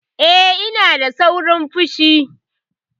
Eh, ina da saurin fushi.